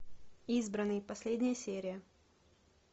избранный последняя серия